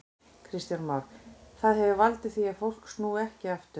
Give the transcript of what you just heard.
Kristján Már: Það hefur valdið því að fólk snúi ekki aftur?